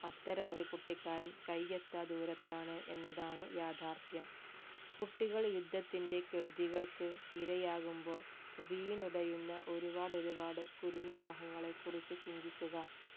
അത്തരമൊരു കുട്ടിക്കാലം കയ്യെത്താ ദൂരത്താണ് എന്നതാണു യാർഥാഥ്യം കുട്ടികൾ യുദ്ധത്തിന്റെ കെടുതികൾക്കു ഇരയാകുമ്പോൾ വീണുടയുന്ന ഒരുപാട് ഒരുപാട് കുരുന്നു മോഹങ്ങളെ കുറിച്ച് ചിന്തിക്കുക